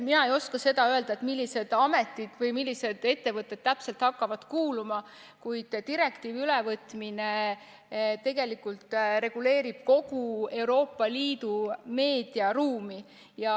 Mina ei oska seda öelda, millised ametid või millised ettevõtted täpselt hakkavad kuuluma, kuid direktiivi ülevõtmine reguleerib kogu Euroopa Liidu meediaruumi.